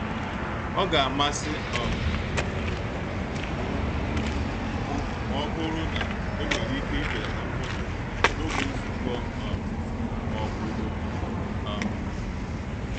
Ọ ga-amasị um m ma ọ bụrụ na enwere ike ibelata mkpọtụ n'oge nzukọ um ma ọ bụ oku. um